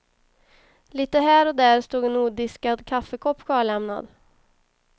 Lite här och där stod en odiskad kaffekopp kvarlämnad.